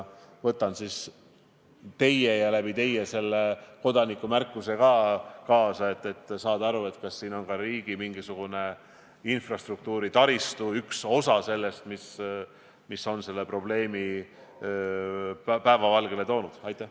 Võtan teie ja selle kodaniku märkuse endaga kaasa, et saada aru, kas siin on mingisugune osa ka riigi taristust selle probleemi päevavalgele toomisega seotud.